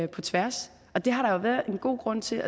på tværs og det har været en god grund til